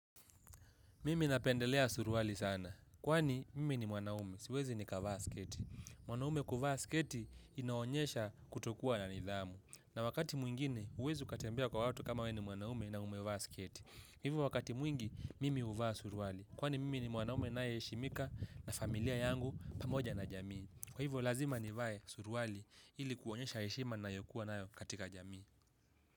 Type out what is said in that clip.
Mimi napendelea suruwali sana, kwani mimi ni mwanaume, siwezi nikavaa sketi. Mwanaume kuvaa sketi inaonyesha kutokua na nidhamu. Na wakati mwingine, uwezi ukatembea kwa watu kama we ni mwanaume na umevaa sketi. Hivyo wakati mwingi, mimi uvaa suruwali. Kwani mimi ni mwanaume na yeshimika na familia yangu pamoja na jamii. Kwa hivyo lazima nivae suruwali ili kuonyesha heshima nayobkuwa nayo katika jamii.